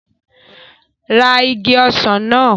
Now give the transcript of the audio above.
Ra igi ọsàn náà!